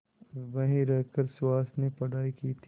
वहीं रहकर सुहास ने पढ़ाई की थी